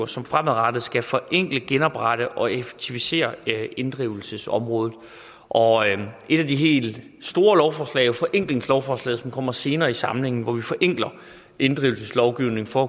som fremadrettet skal forenkle genoprette og effektivisere inddrivelsesområdet og et af de helt store lovforslag er jo forenklingslovforslaget som kommer senere i samlingen hvor vi altså forenkler inddrivelseslovgivningen for